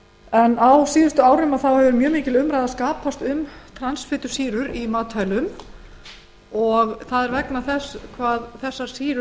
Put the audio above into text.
gert á síðustu árum hefur mjög mikil umræða skapast um transfitusýrur í matvælum vegna þess hversu hættulegar þær